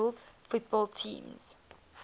rules football teams